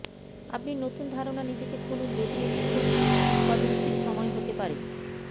আপনি নতুন ধারনা নিজেকে খুলুন যদি এটি খুব উত্পাদনশীল সময় হতে পারে